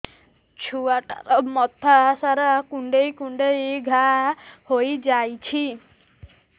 ଛୁଆଟାର ମଥା ସାରା କୁଂଡେଇ କୁଂଡେଇ ଘାଆ ହୋଇ ଯାଇଛି